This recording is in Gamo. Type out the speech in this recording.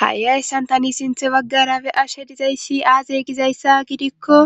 Ha'i ayssan tani sinthe baggara be ashe dizayssi aaze gizayssa gidikko